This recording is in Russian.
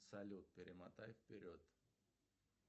салют перемотай вперед